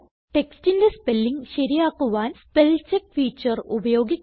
textന്റെ spelling ശരിയാക്കുവാൻ spellcheck feature ഉപയോഗിക്കുക